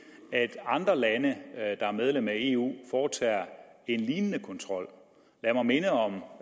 at andre lande der er medlemmer af eu foretager en lignende kontrol lad mig minde om